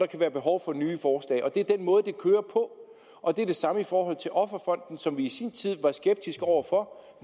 der være behov for nye forslag det er den måde det kører på og det er det samme i forhold til offerfonden som vi i sin tid var skeptiske over for